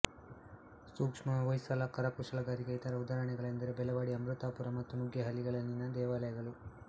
ಸೂಕ್ಷ್ಮ ಹೊಯ್ಸಳ ಕರಕುಶಲಗಾರಿಕೆಯ ಇತರ ಉದಾಹರಣೆಗಳೆಂದರೆ ಬೆಳವಾಡಿ ಅಮೃತಾಪುರ ಮತ್ತು ನುಗ್ಗೇಹಳ್ಳಿಗಳಲ್ಲಿನ ದೇವಾಲಯಗಳು